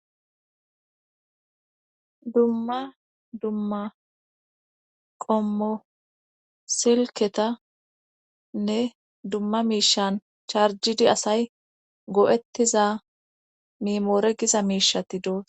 dumma dumma qommo silketanne dumma miishan charjidi asay go7ettiza mimoore giza miishati doosa